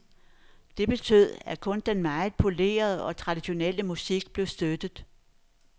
Det betød, at kun den meget polerede og traditionelle musik blev støttet.